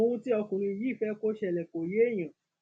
ohun tí ọkùnrin yìí fẹ kó ṣẹlẹ kò yéèyàn